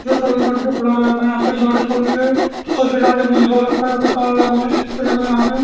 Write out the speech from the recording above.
जो चौबीस घंटे खुला रहता है यहां पे गाड़ी खड़ी है बंद हो रखा है यहां पे ताला लगा हुआ है यहां पे --